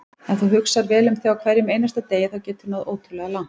Ef þú hugsar vel um þig á hverjum einasta degi þá geturðu náð ótrúlega langt.